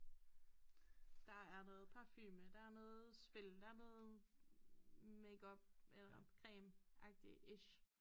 Der er noget parfume der noget spil der noget makeup eller cremeagtig-ish